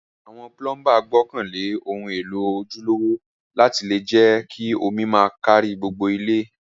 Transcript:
Àwon plumber gbókàn lé oun élò ojúlówó láti le je omi ma kárí gbogbo ilé